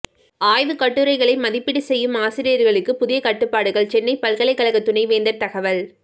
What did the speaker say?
ஆய்வு கட்டுரைகளை மதிப்பீடு செய்யும் ஆசிரியர்களுக்கு புதிய கட்டுப்பாடுகள் சென்னை பல்கலைக்கழக துணைவேந்தர் தகவல்